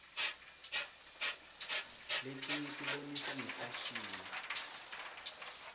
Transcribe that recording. letinyetibonisa ngefasihni